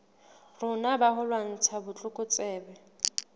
rona ba ho lwantsha botlokotsebe